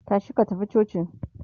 tashi ka tafi coci!